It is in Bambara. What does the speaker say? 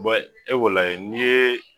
e ko lajɛ n'i ye